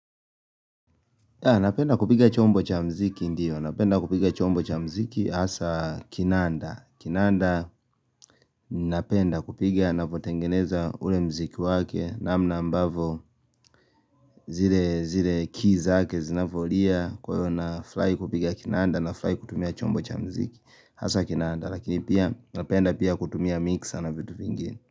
Napenda kupiga chombo cha mziki ndiyo. Napenda kupiga chombo cha mziki hasa kinanda. Kinanda napenda kupiga napotengeneza ule mziki wake namna ambavo zile keys zake zinavyolia kwa hiyo nafurari kupiga kinanda nafurahi kutumia chombo cha mziki hasa kinanda. Lakini pia napenda pia kutumia mixer na vitu vingine.